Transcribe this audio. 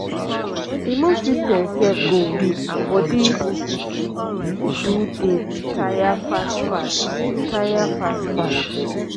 immune system sef go weak and bodi do dey tire fast fast tire fast fast